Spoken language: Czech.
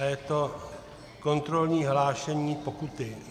A je to kontrolní hlášení pokuty.